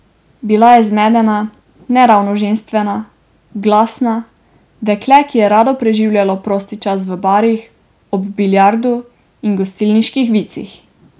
Bila je zmedena, ne ravno ženstvena, glasna, dekle, ki je rado preživljalo prosti čas v barih, ob biljardu in gostilniških vicih.